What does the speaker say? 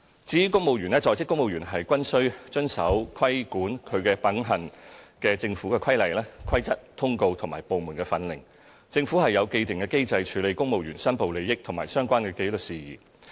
至於公務員方面，在職公務員均須遵守規管其品行的政府規例、規則、通告及部門訓令，政府有既定機制處理公務員申報利益和相關紀律事宜。